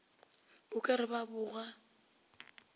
o ka re ba boga